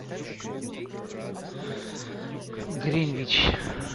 гринвич